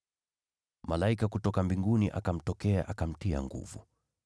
Malaika kutoka mbinguni akamtokea, akamtia nguvu.